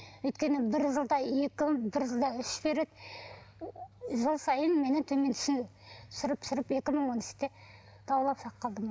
өйткені бір жылда екі бір жылда үш береді жыл сайын мені төмен түсіріп түсіріп екі мың он үште